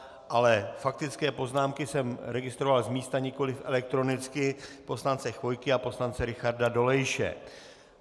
Ale faktické poznámky jsem registroval z místa, nikoliv elektronicky, poslance Chvojky a poslance Richarda Dolejše.